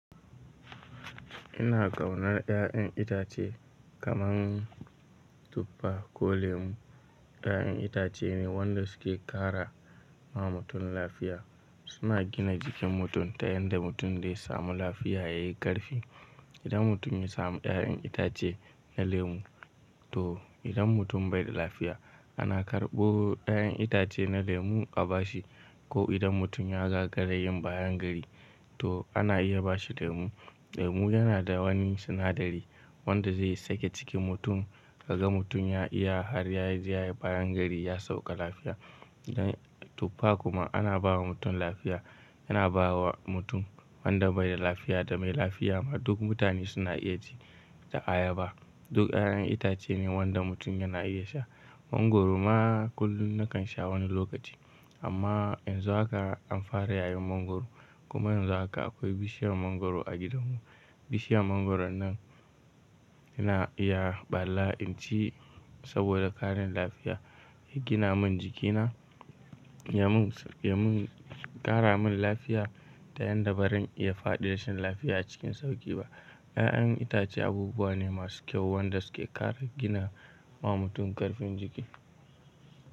Ina ƙaunar ƴaƴan itace kaman tufa ko lemu. Ƴaƴan itace ne wanda suke ƙara ma mutum lafiya. Suna gina jikin mutum ta yanda mutum dai samu lafiya yayi ƙarfi. Idan mutum ya samu ƴaƴan itace na lemu to idan mutum bai da lafiya ana karɓo ƴaƴan itace na lemu a bashi ko idan mutum ya gagara yin bayangari to ana iya bashi lemu. Lemu yana da wani sinadari wanda zai sake cikin mutum kaga mutum ya iya har ya je yayi bayangari ya sauka lafiya. Dan tufa kuma ana bawa mutum lafiya. Yana bawa mutum wanda bai da lafiya da mai lafiya ma duk mutane suna iya ci da ayaba. Duk ƴaƴan itace ne wanda mutum yana iya sha. Mangwaro ma kullum nakan sha wani lokaci amma yanzu haka an fara yayin mangwaro kuma yanzu haka akwai bishiyar mangwaro a gidanmu. Bishiyar mangwaron nan ina iya ɓalla in ci saboda ƙarin lafiya ya gina mun jikina, ya mun, ya mun ƙara mun lafiya ta yanda barin iya faɗi rashin lafiya a cikin sauƙi ba. Ƴaƴan itace abubuwa ne masu kyau wanda suke ƙara gina ma mutum ƙarfin jiki.